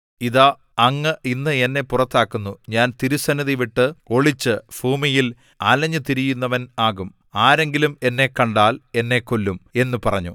ഇതാ അങ്ങ് ഇന്ന് എന്നെ പുറത്താക്കുന്നു ഞാൻ തിരുസന്നിധിവിട്ട് ഒളിച്ചു ഭൂമിയിൽ അലഞ്ഞുതിരിയുന്നവൻ ആകും ആരെങ്കിലും എന്നെ കണ്ടാൽ എന്നെ കൊല്ലും എന്നു പറഞ്ഞു